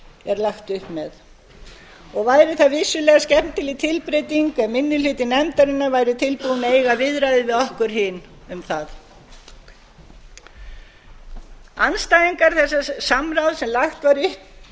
er lagt upp með og væri það vissulega skemmtileg tilbreyting ef minni hluti nefndarinnar væri tilbúinn að eiga viðræður við okkur hin um það andstæðingar þessa samráðs sem lagt